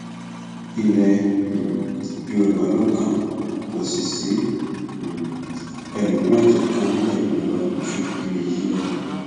ilẹ um yorùbá ló kàn kò sì sí um ẹlòmíín tó kàn nílẹ yorùbá ju ẹmí yìí lọ